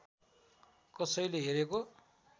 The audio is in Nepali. कसैले हेरेको